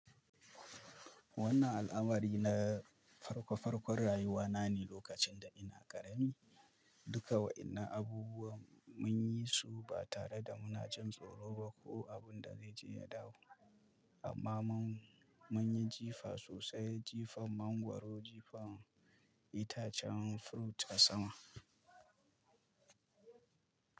Wannan al'amari na farko farkon rayuwa na ne lokacin da ina ƙarami. Duka wa'ina abubuwan mun yi su ba tare da muna jin tsoro ba ko abun da zai je ya dawo. Amma mun, munyi jifa sosai, jifan mangwaro, jifan itacen furut a sama.